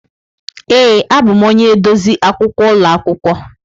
Ee, abụm onye edozi akwụkwọ ụlọ akwụkwọ.